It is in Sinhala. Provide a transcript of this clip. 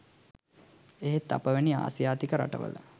එහෙත් අප වැනි ආසියාතික රට වල